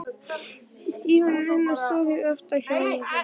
Dívaninn hennar stóð fyrir aftan hjónarúmið.